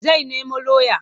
Zai nemo lauya.